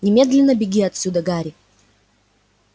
немедленно беги отсюда гарри